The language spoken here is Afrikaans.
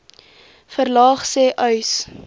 verlaag sê uys